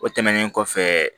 O tɛmɛnen kɔfɛ